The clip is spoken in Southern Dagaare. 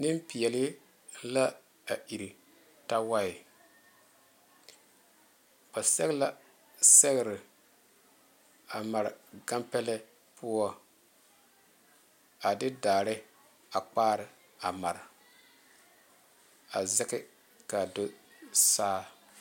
Nenpeɛle la a ire tawae ba sɛge la sɛgre a mare gane pɛle poɔ a de daare a pare a mare a zage kaa zu saa.